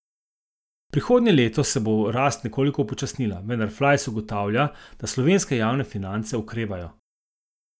Prihodnje leto se bo rast nekoliko upočasnila, vendar Flajs ugotavlja, da slovenske javne finance okrevajo.